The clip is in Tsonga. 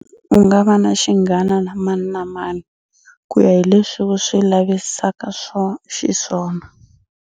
U nga va na xinghana na mani na mani kuya hi leswi u swi lavisaka xiswona.